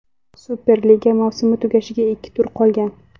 Superliga mavsumi tugashiga ikki tur qolgan.